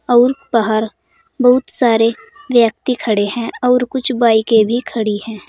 और बाहर बहुत सारे व्यक्ति खड़े है और कुछ बाइके भी खड़ी है।